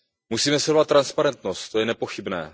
Musíme sledovat transparentnost, to je nepochybné.